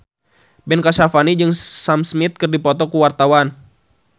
Ben Kasyafani jeung Sam Smith keur dipoto ku wartawan